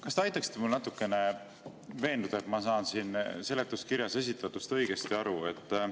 Kas te natukene aitaksite mul veenduda, et ma saan siin seletuskirjas esitatust õigesti aru?